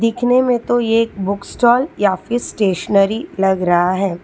दिखने मे तो ये एक बुक स्टॉल या फिर स्टेशनरी लग रहा है।